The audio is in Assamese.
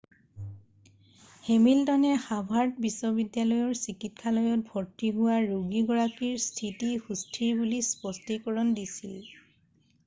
হেমিল্টনে হাভাৰ্ড বিশ্ববিদ্যালয়ৰ চিকিৎসালয়ত ভৰ্ত্তি হোৱা ৰোগীগৰাকীৰ স্থিতি সুস্থিৰ বুলি স্পষ্টীকৰণ দিছিল